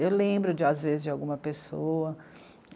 Eu lembro de, às vezes, de alguma pessoa.